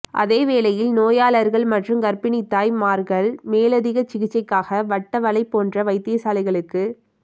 அதேவேளை நோயாளர்கள் மற்றும் கர்ப்பிணித்தாய்மார்கள் மேலதிக சிகிச்சைகளுக்காக வட்டவளை போன்ற வைத்தியசாலைகளுக்கு